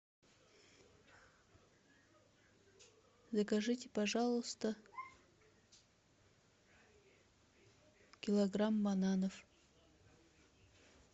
закажите пожалуйста килограмм бананов